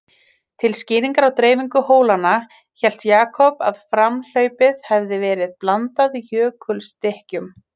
Til skýringar á dreifingu hólanna, hélt Jakob að framhlaupið hefði verið blandað jökulstykkjum.